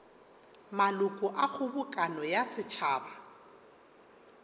maloko a kgobokano ya setšhaba